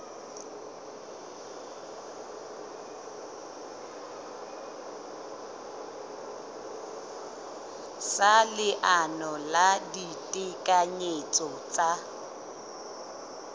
sa leano la ditekanyetso tsa